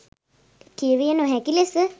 කියවිය නොහැකි ලෙස